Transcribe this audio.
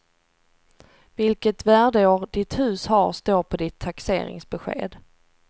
Vilket värdeår ditt hus har står på ditt taxeringsbesked.